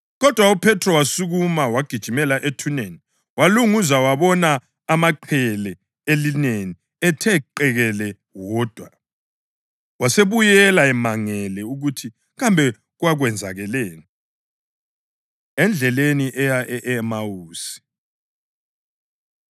Kodwa uPhethro wasukuma wagijimela ethuneni. Walunguza wabona amaqhele elineni ethe qekele wodwa, wasebuyela emangele ukuthi kambe kwakwenzakaleni. Endleleni Eya E-Emawusi